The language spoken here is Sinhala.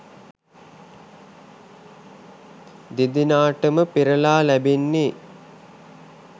දෙදෙනාටම පෙරළා ලැබෙන්නේ